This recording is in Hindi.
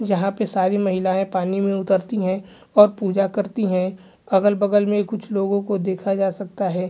यहां पर सारी महिलाएं पानी में उतरती है और पूजा करती है अगल-बगल में कुछ लोगों को देखा जा सकता है।